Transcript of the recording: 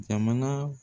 Jamana